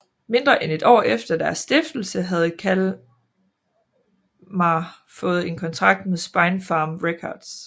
Mindre end et år efter deres stiftelse havde Kalmah fået en kontrak med Spinefarm Records